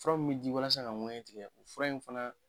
Fura min bɛ di walasa ka ŋɛɲɛ tigɛ, fura in fana